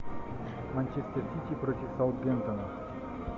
манчестер сити против саутгемптона